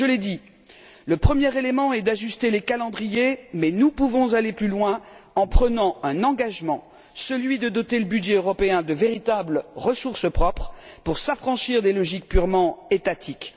Je l'ai dit, la première mesure à prendre est d'ajuster les calendriers, mais nous pouvons aller plus loin en prenant un engagement, celui de doter le budget européen de véritables ressources propres pour s'affranchir des logiques purement étatiques.